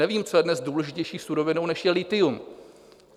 Nevím, co je dnes důležitější surovinou, než je lithium.